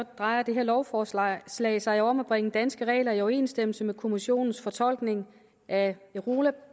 drejer det her lovforslag sig sig om at bringe danske regler i overensstemmelse med kommissionens fortolkning af